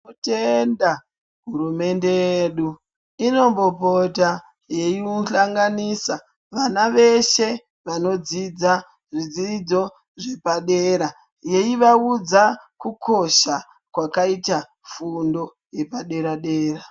Tinotenda hurumende yedu inombopota yeiuhlanganisa vana veshe vanodzidza zvidzidzo zvepadera yeivaudza kukosha kwakaita fundo yepadera-dera.